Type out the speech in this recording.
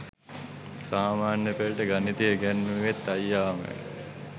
සාමාන්‍ය පෙළට ගණිතය ඉගැන්නුවෙත් අයියාමයි.